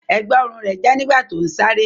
Ẹ̀gbá-ọrùn rẹ̀ já nígbà tó ń sáré.